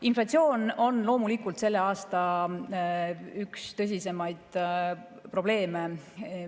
Inflatsioon on loomulikult selle aasta üks tõsisemaid probleeme.